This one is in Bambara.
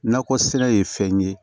Nakɔ sɛnɛ ye fɛn ye